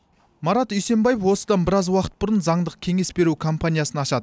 марат үйсембаев осыдан біраз уақыт бұрын заңдық кеңес беру компаниясын ашады